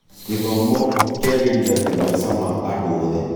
Gĩthomo kĩagĩrithagia maica ma andũ othe.